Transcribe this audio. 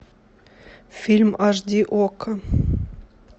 фильм аш ди окко